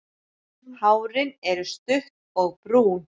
Hárin er stutt og brún.